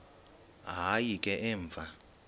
hayi ke emva